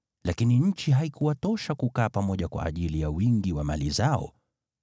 Lakini nchi haikuwatosha kukaa pamoja kwa ajili ya wingi wa mali zao.